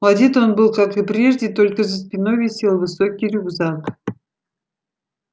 одет он был как и прежде только за спиной висел высокий рюкзак